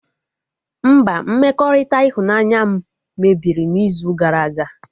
Mba, mmekọrịta ịhụnanya m mebiri n'izu gara aga